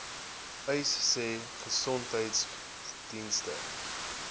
uys sê gesondheidsdienste